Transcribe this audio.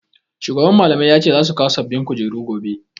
Shugaban Mallamai ya ce za su kawo sababbin kujeru gobe.